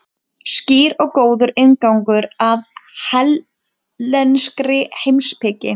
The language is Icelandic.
Skýr og góður inngangur að hellenískri heimspeki.